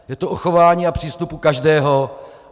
Je to o chování a přístupu každého.